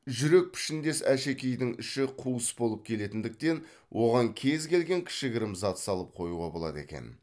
жүрек пішіндес әшекейдің іші қуыс болып келетіндіктен оған кез келген кішігірім зат салып қоюға болады екен